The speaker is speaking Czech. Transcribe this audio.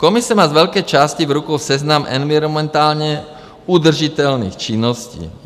Komise má z velké části v rukou seznam environmentálně udržitelných činností.